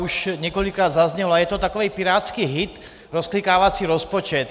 Už několikrát zaznělo, a je to takový pirátský hit - rozklikávací rozpočet.